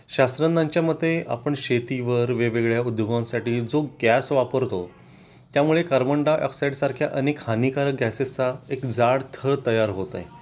शास्त्रज्ञांच्या मते आपण शेतीवर वेगवेगळ्या उद्योगांसाठी जो गॅस वापरतो त्यामुळे कार्बन डाय ऑक्साईड सारख्या अनेक हानिकारक गॅसेसचा एक जाड थर तयार होत आहे तो